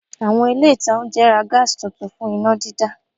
Àwọn ilé ìta oúnjẹ ra Gas tuntun fún iná dídá